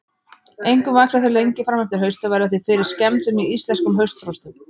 Einkum vaxa þau lengi fram eftir hausti og verða því fyrir skemmdum í íslenskum haustfrostum.